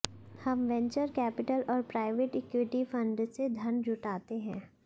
हम venture capital और private equity fund से धन जुटाते हैं